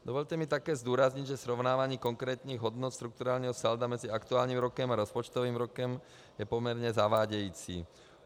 Dovolte mi také zdůraznit, že srovnávání konkrétních hodnot strukturálního salda mezi aktuálním rokem a rozpočtovým rokem je poměrně zavádějící.